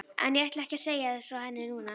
En ég ætla ekki að segja þér frá henni núna.